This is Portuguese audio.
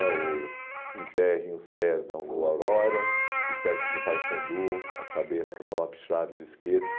É o Enterrem os pés na rua Aurora, o sexo no Paysandu, a cabeça no Lopes Chaves, esqueça.